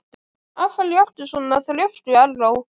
Af hverju ertu svona þrjóskur, Erró?